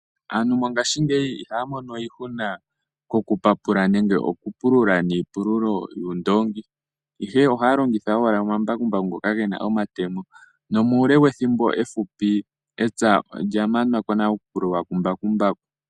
Aantu mongashingeyi ihaya mono iihuna yoku papula nenge yoku pulula niipululo noondongi, ihe ohaya longitha owala omambakumbaku ngoka gena omatemo. Nomuule wethimbo ehupi epya olya manwako nale kumbakumbaku.